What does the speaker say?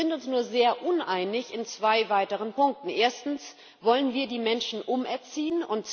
Wir sind uns nur sehr uneinig in zwei weiteren Punkten Erstens Wollen wir die Menschen umerziehen?